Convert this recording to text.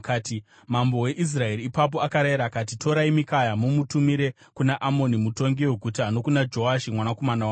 Mambo weIsraeri ipapo akarayira akati, “Torai Mikaya mumutumire kuna Amoni mutongi weguta nokuna Joashi mwanakomana wamambo.